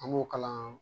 An b'o kalan